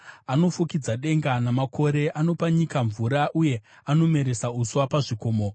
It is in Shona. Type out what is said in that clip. Anofukidza denga namakore; anopa nyika mvura, uye anomeresa uswa pazvikomo.